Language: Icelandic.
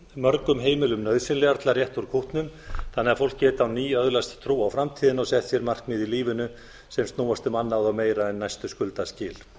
mörgum heimilum nauðsynlegar til að rétta úr kútnum þannig að fólk geti á ný öðlast trú á framtíðina og sett sér markmið í lífinu sem snúist um annað og meira en næstu skuldaskil